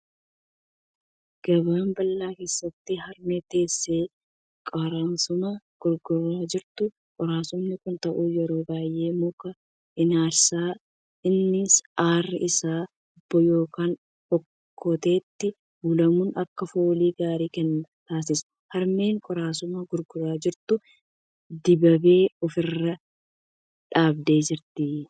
Gabaa bal'aa keessatti harmee teessee qoraasuma gurguraa jirtu. Qoraasuma kan ta'u yeroo baay'ee muka enersaati. Innis aarri isaa hubboo yookiin okkoteetti ulamuun akka foolii gaarii kennan taasisa. Harmeen qoraasuma gurguraa jirtu dibaabee ofirra qabdee jirti.